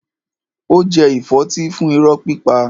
Ó jẹ ìfọ́tí fún irọ́ pípa.